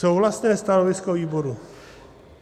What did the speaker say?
Souhlasné stanovisko výboru.